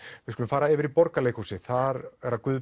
við skulum fara yfir í Borgarleikhúsið þar er Guð